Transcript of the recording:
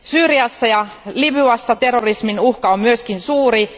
Syyriassa ja Libyassa terrorismin uhka on myös suuri.